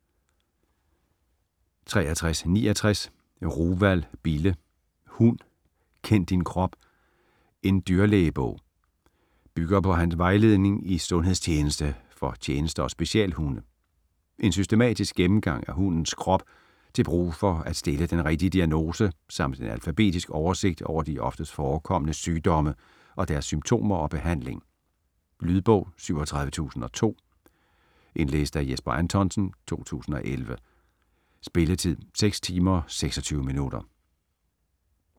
63.69 Ruwald, Bille: Hund kend din krop: en dyrlægebog Bygger på hans vejledning i sundhedstjeneste for tjeneste- og specialhunde. En systematisk gennemgang af hundens krop til brug for at stille den rigtige diagnose samt en alfabetisk oversigt over de oftest forekommende sygdomme og deres symptomer og behandling. Lydbog 37002 Indlæst af Jesper Anthonsen, 2011. Spilletid: 6 timer, 26 minutter.